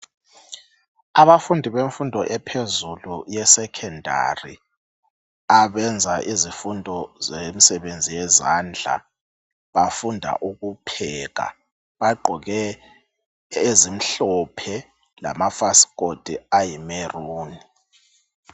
Abafundi bemfundo ephezulu yesecondary abenza izifundo zemsebenzi yezandla bafunda ukupheka bagqoke ezimhlophe lama fasikoti ayibubende.